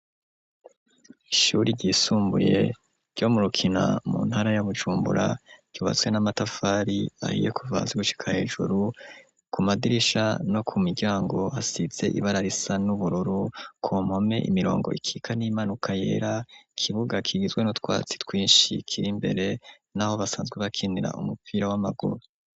Ishure ryisumbuye ryo mu Rukina, mu ntara ya Bujumbura, ryubatswe n'amatafari ahiye kuva hasi gushika hejuru, ku madirisha no ku miryango hasize ibara risa n'ubururu, ku mpome imirongo ikika n'iyimanuka yera, ikibuga kigizwe n'utwatsi twinshi kiri imbere, n'aho basanzwe bakinira umupira w'amaguru.